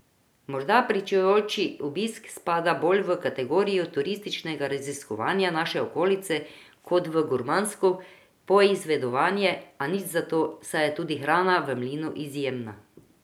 Morda pričujoči obisk spada bolj v kategorijo turističnega raziskovanja naše okolice kot v gurmansko poizvedovanje, a nič zato, saj je tudi hrana v mlinu izjemna.